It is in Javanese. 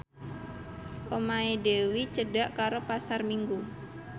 omahe Dewi cedhak karo Pasar Minggu